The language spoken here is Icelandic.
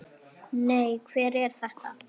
Nei, hver er þetta?